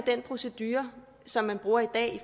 den procedure som man bruger i dag